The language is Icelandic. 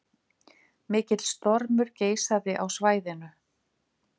Mikill stormur geisaði á svæðinu